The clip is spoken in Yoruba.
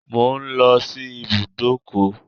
I'm going to the garage